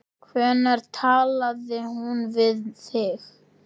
Hvenær talaði hún við þig?